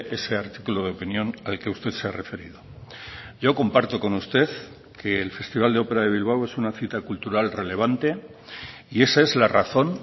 ese artículo de opinión al que usted se ha referido yo comparto con usted que el festival de ópera de bilbao es una cita cultural relevante y esa es la razón